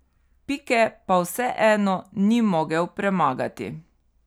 Pike pa vseeno ni mogel premagati.